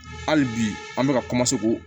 Hali bi an bɛ ka